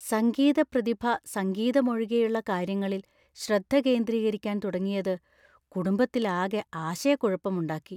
സംഗീത പ്രതിഭ സംഗീതം ഒഴികെയുള്ള കാര്യങ്ങളില്‍ ശ്രദ്ധ കേന്ദ്രീകരിക്കാൻ തുടങ്ങിയത് കുടുംബത്തിലാകെ ആശയക്കുഴപ്പമുണ്ടാക്കി.